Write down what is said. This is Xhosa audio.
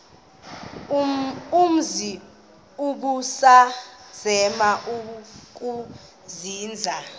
umzi ubusazema ukuzinza